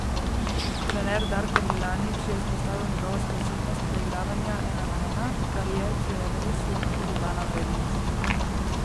Trener Darko Milanič je izpostavil njegovo sposobnost preigravanja ena na ena, kar je, če je res, lahko dodana vrednost.